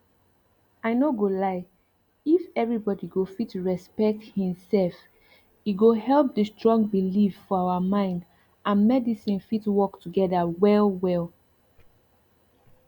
i no go lie if everybody go fit respect hin self e go help the strong belief for our mind andmedicine fit work together wellwell